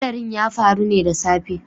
Hadarin ya faru ne da safe